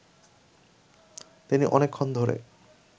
তিনি অনেকক্ষণ ধরে